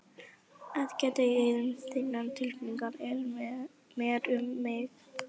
Að geta í eyður þinna tilfinninga er mér um megn.